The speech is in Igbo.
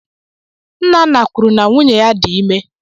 Nnanna kwuru na nwunye dị ime.